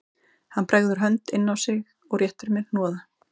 Hann bregður hönd inn á sig og réttir mér hnoða